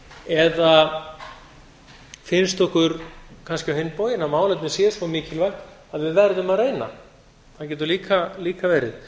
eða finnst okkur kannski á hinn bóginn að málefnið sé svo mikilvægt að við verðum að reyna það getur líka verið